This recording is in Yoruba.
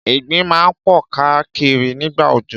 Ìgbín máa ń pọ̀ káà kiri nígbà òjò.